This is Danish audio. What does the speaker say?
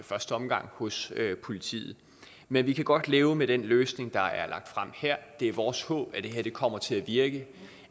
første omgang hos politiet men vi kan godt leve med den løsning der er lagt frem her det er vores håb at det kommer til at virke